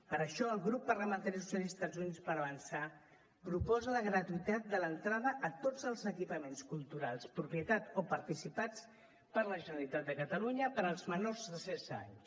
per això el grup parlamentari socialistes i units per avançar proposa la gratuïtat de l’entrada a tots els equipaments culturals propietat o participats per la generalitat de catalunya per als menors de setze anys